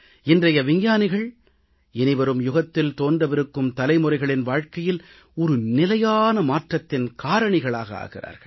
இன்றைய விஞ்ஞானிகள் இனிவரும் யுகத்தில் தோன்றவிருக்கும் தலைமுறைகளின் வாழ்க்கையில் ஒரு நிலையான மாற்றத்தின் காரணிகளாக ஆகிறார்கள்